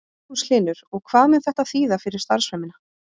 Magnús Hlynur: Og hvað mun þetta þýða fyrir starfsemina?